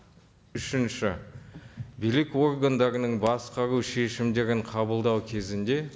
үшінші билік органдарының басқару шешімдерін қабылдау кезінде